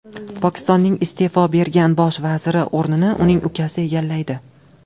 Pokistonning iste’fo bergan bosh vaziri o‘rnini uning ukasi egallaydi.